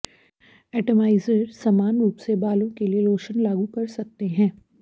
atomiser समान रूप से बालों के लिए लोशन लागू कर सकते हैं